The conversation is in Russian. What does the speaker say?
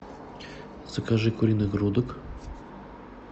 закажи куриных грудок